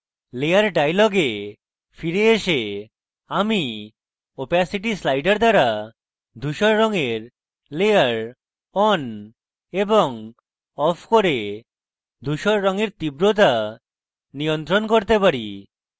layer dialog ফিরে এসে আমি opacity slider দ্বারা ধুসর রঙের layer on এবং off করে ধুসর রঙের তীব্রতা নিয়ন্ত্রণ করতে পারি